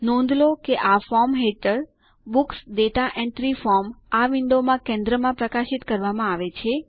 નોંધ લો કે આ ફોર્મ હેઠળ બુક્સ દાતા એન્ટ્રી ફોર્મ આ વિન્ડોમાં કેન્દ્રમાં પ્રકાશિત કરવામાં આવે છે